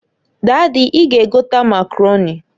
Dady, I ga egota Makaroni.